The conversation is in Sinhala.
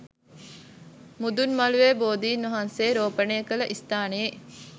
මුදුන් මළුවේ බෝධින් වහන්සේ රෝපණය කළ ස්ථානයේ